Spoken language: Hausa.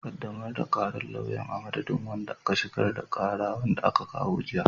Ƙaddamar da ƙarar lauyan, a madadin wanda ya shigar da ƙara, wanda aka kawo jiya.